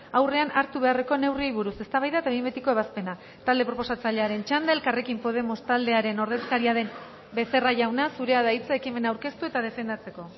aurrean hartu beharreko neurriei buruz eztabaida eta behin betiko ebazpena talde proposatzailearen txanda elkarrekin podemos taldearen ordezkaria den becerra jauna zurea da hitza ekimena aurkeztu eta defendatzeko